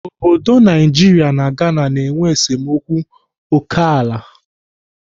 Obodo Naijiria na Ghana na-enwe esemokwu ókèala.